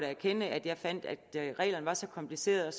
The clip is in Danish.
erkende at reglerne er så komplicerede og